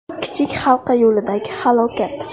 Kichik Halqa yo‘lidagi halokat.